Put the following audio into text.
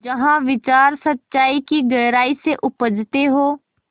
जहाँ विचार सच्चाई की गहराई से उपजतें हों